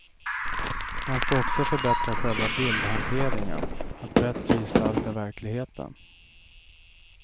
Man ska också förbättra själva bildhanteringen, att bättre gestalta verkligheten.